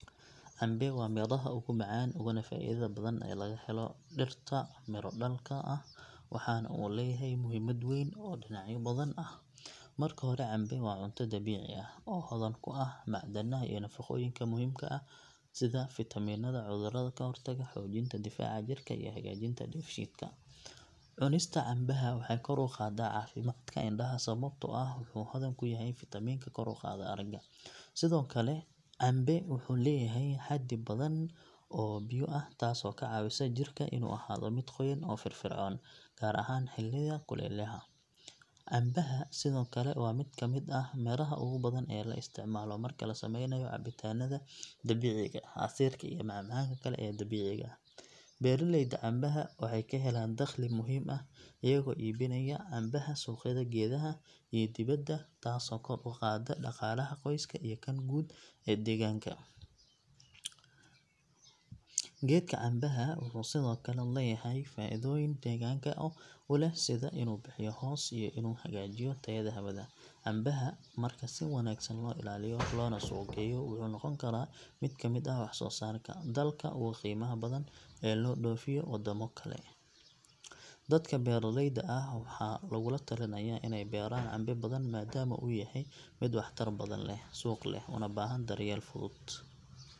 Cambe waa midhaha ugu macaan uguna faa’iidada badan ee laga helo dhirta miro dhalka ah waxaana uu leeyahay muhiimad weyn oo dhinacyo badan ah. Marka hore cambe waa cunto dabiici ah oo hodan ku ah macdanaha iyo nafaqooyinka muhiimka u ah jirka sida fiitamiinada cudurrada ka hortaga, xoojinta difaaca jirka iyo hagaajinta dheefshiidka. Cunista cambaha waxay kor u qaaddaa caafimaadka indhaha sababtoo ah wuxuu hodan ku yahay fiitamiinka kor u qaada aragga. Sidoo kale cambuhu wuxuu leeyahay xaddi badan oo biyo ah taasoo ka caawisa jirka inuu ahaado mid qoyan oo firfircoon gaar ahaan xilliyada kulaylaha. Cambuhu sidoo kale waa mid ka mid ah miraha ugu badan ee la isticmaalo marka la sameynayo cabitaannada dabiiciga ah, casiirka iyo macmacaanka kale ee dabiiciga ah. Beeraleyda cambaha waxay ka helaan dakhli muhiim ah iyagoo iibinaya cambaha suuqyada gudaha iyo dibadda taasoo kor u qaadda dhaqaalaha qoyska iyo kan guud ee deegaanka. Geedka cambaha wuxuu sidoo kale leeyahay faa’iidooyin deegaanka u leh sida inuu bixiyaa hoos iyo inuu hagaajiyo tayada hawada. Cambaha marka si wanaagsan loo ilaaliyo loona suuq geeyo wuxuu noqon karaa mid kamid ah wax soo saarka dalka ugu qiimaha badan ee loo dhoofiyo waddamo kale. Dadka beeraleyda ah waxaa lagula talinayaa inay beeraan cambe badan maadaama uu yahay mid wax tar badan leh, suuq leh, una baahan daryeel fudud .